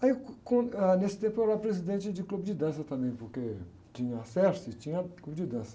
Aí, com, ãh, nesse tempo, eu era presidente de clube de dança também, porque tinha a, tinha clube de dança.